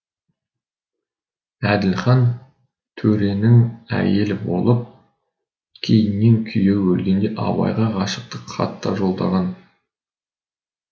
әділхан төренің әйелі болып кейіннен күйеуі өлгенде абайға ғашықтық хат та жолдаған